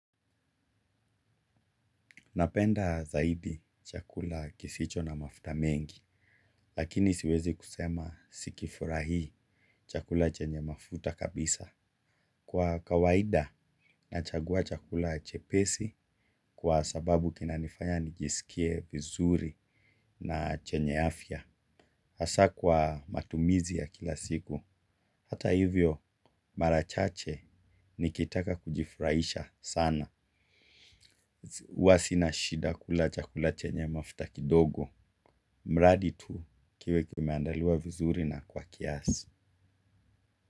Napenda zaidi chakula kisicho na mafuta mengi, lakini siwezi kusema sikifurahii chakula chenye mafuta kabisa. Kwa kawaida, nachagua chakula chepesi kwa sababu kina nifanya nijisikie vizuri na chenye afya. Asa kwa matumizi ya kila siku, hata hivyo mara chache nikitaka kujifurahisha sana. Hua sina shida kula chakula chenye mafuta kidogo mradi tu kiwe kimeandaliwa vizuri na kwa kiasi.